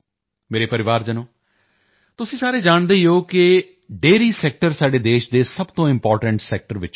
ਮੇਰੇ ਪਰਿਵਾਰਜਨੋ ਤੁਸੀਂ ਸਾਰੇ ਜਾਣਦੇ ਹੋ ਕਿ ਡੇਅਰੀ ਸੈਕਟਰ ਸਾਡੇ ਦੇਸ਼ ਦੇ ਸਭ ਤੋਂ ਇੰਪੋਰਟੈਂਟ ਸੈਕਟਰ ਚੋਂ ਇੱਕ